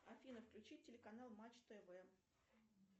афина включить телеканал матч тв